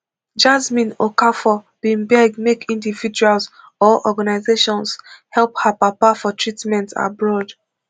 jasmine okafor bin beg make individuals or organizations help her papa for treatment abroad